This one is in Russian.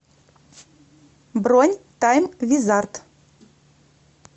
бронь тайм визард